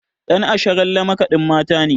Ɗan Asharalle makaɗin Mata ne.